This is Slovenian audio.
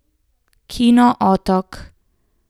Kino Otok.